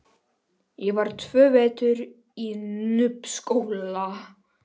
Ég var tvo vetur í Núpsskóla.